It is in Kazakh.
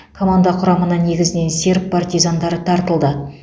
команда құрамына негізінен серб партизандары тартылды